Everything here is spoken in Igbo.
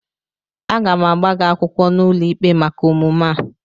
Aga m agba gị akwụkwọ n'ụlọikpe maka omume a